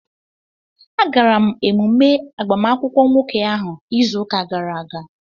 Agara m emume agbamakwụkwọ nwoke ahụ izu ụka gara aga